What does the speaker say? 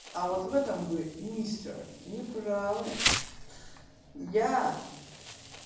а вот в этом вы мистер не правы я